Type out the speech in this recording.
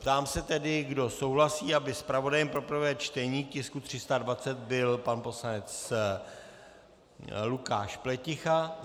Ptám se tedy, kdo souhlasí, aby zpravodajem pro prvé čtení tisku 320 byl pan poslanec Lukáš Pleticha.